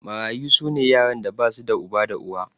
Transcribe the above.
Mararyu su ne yaran da ba su da uba da uwa.